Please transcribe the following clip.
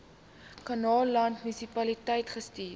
kannaland munisipaliteit gestuur